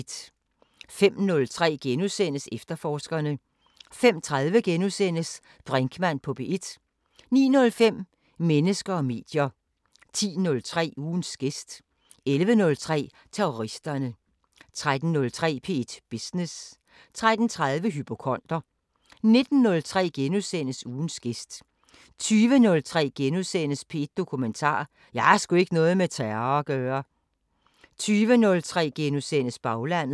05:03: Efterforskerne * 05:30: Brinkmann på P1 * 09:05: Mennesker og medier 10:03: Ugens gæst 11:03: Terroristerne 13:03: P1 Business 13:30: Hypokonder 19:03: Ugens gæst * 20:03: P1 Dokumentar: 'Jeg har sgu ikke noget med terror at gøre' * 20:30: Baglandet *